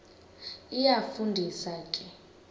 iyafu ndisa ke